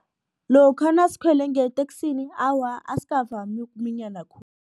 Lokha nasikhwele ngeteksini awa asikavami ukuminyana